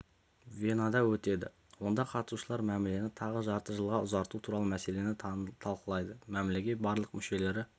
венада өтеді онда қатысушылар мәмілені тағы жарты жылға ұзарту туралы мәселені талылайды мәмілеге барлығы мүшелері